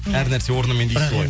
әр нәрсе орнымен дейсіз ғой